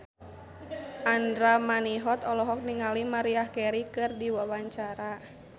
Andra Manihot olohok ningali Maria Carey keur diwawancara